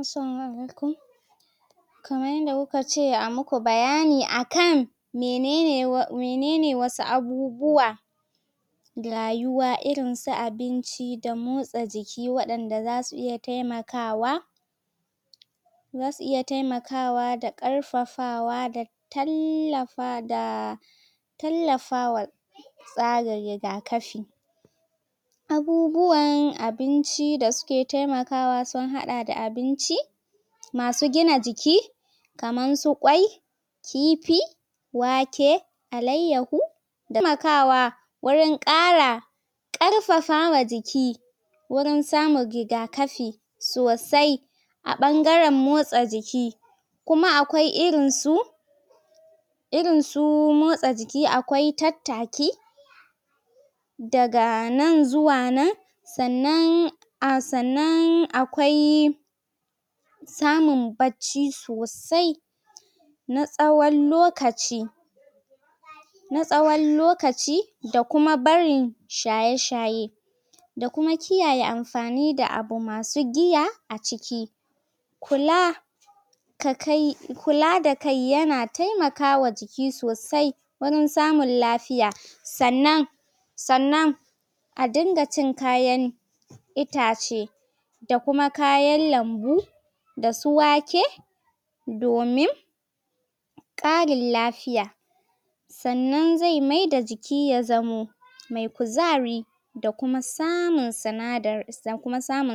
Asalamu alaikum kaman yanda kuka ce a muku bayani akan menene wasu abubuwa rayuwa irin su abinci da motsa jiki wadanda za su iya taimakawa zasu iya taimakawa da karfafawa tallafa da tallafawa sa ga rigakafi abubuwan abinci da su ke taimakawa sun hada da abinci masu gina jiki kaman su kwai kifi wake alaiyahu taimakawa wurin karfafama jiki wurin samu rigakafi sosai a bangaren motsa jiki kumaakwai irin su irin su motsa jiki akwai tattaki daga nan zuwa nan sannan sannan akwai samun bacci sosai na tsawon lokacin na tsawon lokaci da kuma barin shaye shaye da kuma kiyaye amfanin da abu masu giya a ciki kula kula da kai ya na taimakawa jiki sosai wurin samun lafiya sannan sannan a din ga cin kayan itace da kuma kayan lambu da su wake domin karinlafiya sannan zai mai da jiki ya zamo mai kuzari da kuma samun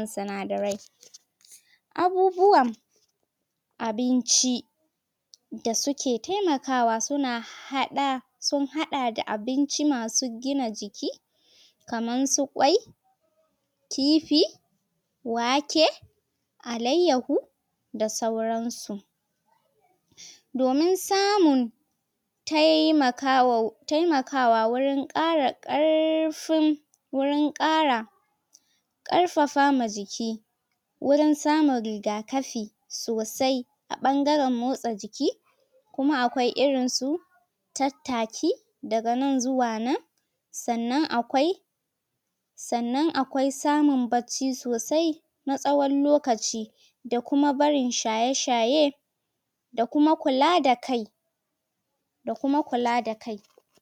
sanadarai abubuwa abinci da su ke taimakawa su na hada sun hada da abinci masu gina jiki kaman su kwai kifi wake alaiyahu da sauransu domin samun taimakawa wurin kara karfin wurin kara karfafama jiki wurin samun rigakafi sosai a bangaren motsa jiki kuma akwai irin su tattaki daga nan zuwa nan sannan akwai sannan akwai samun bacci sosai na tsawon lokaci da kuma barin shaye shaye da kuma kula da kai da kuma kula da kai